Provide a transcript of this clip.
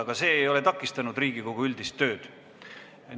Aga see ei ole takistanud Riigikogu üldist tööd.